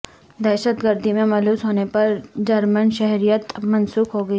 دہشت گردی میں ملوث ہونے پر جرمن شہریت منسوخ ہوگی